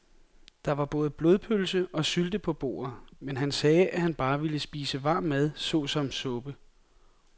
Der var både blodpølse og sylte på bordet, men han sagde, at han bare ville spise varm mad såsom suppe.